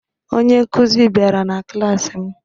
Onye nkụzi bịara na klaasị m